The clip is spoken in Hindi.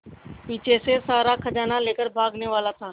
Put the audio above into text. पीछे से सारा खजाना लेकर भागने वाला था